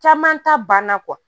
Caman ta banna